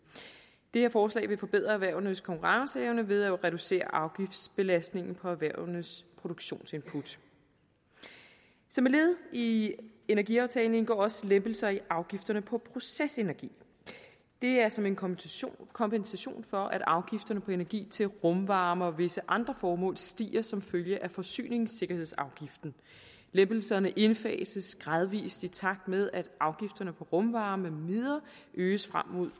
det her forslag vil forbedre erhvervenes konkurrenceevne ved at reducere afgiftsbelastningen på erhvervenes produktionsinput som et led i i energiaftalen indgår også lempelser i afgifterne på procesenergi det er som en kompensation kompensation for at afgifterne på energi til rumvarme og visse andre formål stiger som følge af forsyningssikkerhedsafgiften lempelserne indfases gradvist i takt med at afgifterne på rumvarme med videre øges frem mod